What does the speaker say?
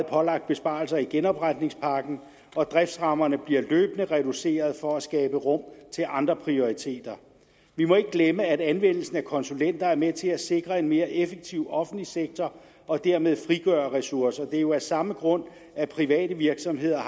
pålagt besparelser i genopretningspakken og driftsrammerne bliver løbende reduceret for at skabe rum til andre prioriteter vi må ikke glemme at anvendelsen af konsulenter er med til at sikre en mere effektiv offentlig sektor og dermed frigøre ressourcer det er jo af samme grund at private virksomheder